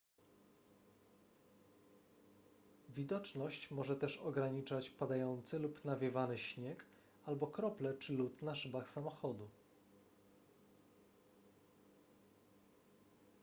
widoczność może też ograniczać padający lub nawiewany śnieg albo krople czy lód na szybach samochodu